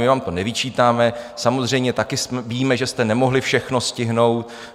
My vám to nevyčítáme, samozřejmě taky víme, že jste nemohli všechno stihnout.